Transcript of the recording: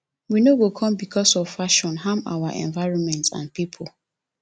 we no go come becos of fashion harm our environment and pipo